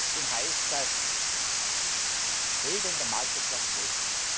und heißt, dass Regeln der Marktwirtschaft gelten.